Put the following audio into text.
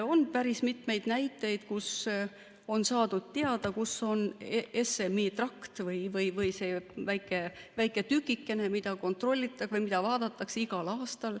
On päris mitmeid näiteid, kus on saadud teada, kus on SMI trakt või see väike tükikene, mida kontrollitakse või mida vaadatakse igal aastal.